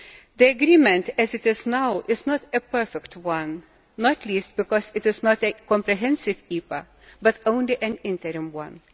The agreement, as it is now, is not a perfect one, not least because it is not a comprehensive EPA, but only an interim one.